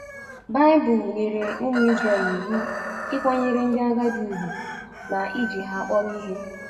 Baịbụl nyere ụmụ Israel iwu ịkwanyere ndị agadi ùgwù na iji ha akpọrọ ihe.